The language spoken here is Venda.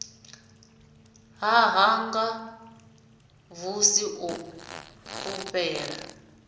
ḽa hanga xvusi o fhufhela